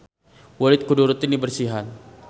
Kulit kudu rutin diberesihan.